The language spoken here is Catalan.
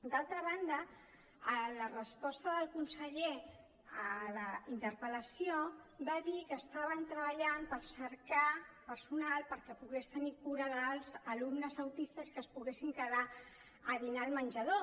d’altra banda en la resposta del conseller a la interpel·lació va dir que estaven treballant per cercar personal perquè pogués tenir cura dels alumnes autistes i que es poguessin quedar a dinar al menjador